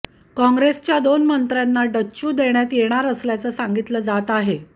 काँग्रेसच्या दोन मंत्र्यांना डच्चू देण्यात येणार असल्याचं सांगितलं जात आहे